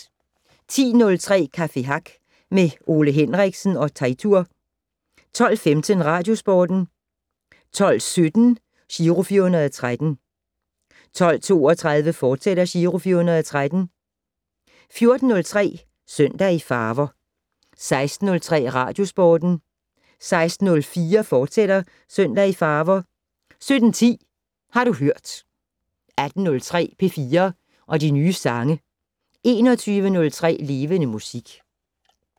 10:03: Café Hack med Ole Henriksen og Teitur 12:15: Radiosporten 12:17: Giro 413 12:32: Giro 413, fortsat 14:03: Søndag i farver 16:03: Radiosporten 16:04: Søndag i farver, fortsat 17:10: Har du hørt 18:03: P4 og de nye sange 21:03: Levende Musik